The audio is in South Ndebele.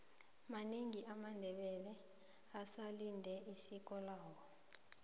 manengi amandebele asalendela isiko lawo